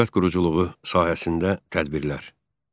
Dövlət quruculuğu sahəsində tədbirlər.